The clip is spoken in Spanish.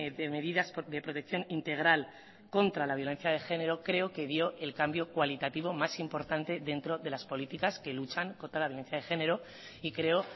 de medidas de protección integral contra la violencia de género creo que dio el cambio cualitativo más importante dentro de las políticas que luchan contra la violencia de género y creo